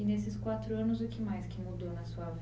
E nesses quatro anos, o que mais mudou na sua